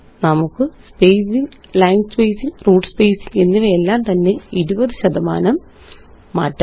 നമുക്ക് spacing line spacing root spacing എന്നിവയെല്ലാം തന്നെ 20 ശതമാനം മാറ്റാം